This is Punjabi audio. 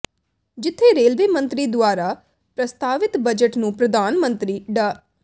ਜਿੱਥੇ ਰੇਲਵੇ ਮੰਤਰੀ ਦੁਆਰਾ ਪ੍ਰਸਤਾਵਿਤ ਬਜਟ ਨੂੰ ਪ੍ਰਧਾਨ ਮੰਤਰੀ ਡਾ